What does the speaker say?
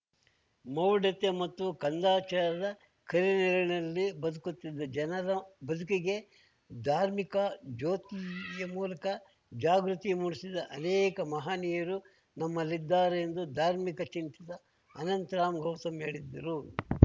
ಮೌಢ್ಯತೆ ಮತ್ತು ಕಂದಾಚಾರದ ಕರಿನೆರಳಿನಲ್ಲಿ ಬದುಕುತ್ತಿದ್ದ ಜನರ ಬದುಕಿಗೆ ಧಾರ್ಮಿಕ ಜ್ಯೋತಿಯ ಮೂಲಕ ಜಾಗೃತಿ ಮೂಡಿಸಿದ ಅನೇಕ ಮಹಾನೀಯರು ನಮ್ಮಲ್ಲಿದ್ದಾರೆ ಎಂದು ಧಾರ್ಮಿಕ ಚಿಂತಕ ಅನಂತರಾಮ್‌ ಗೌತಮ್‌ ಹೇಳಿದ್ದರು